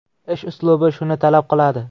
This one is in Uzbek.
Ish uslubi shuni talab qiladi.